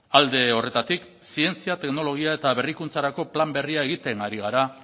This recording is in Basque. alde horretatik zientzia teknologia eta berrikuntzarako plan berria egiten ari gara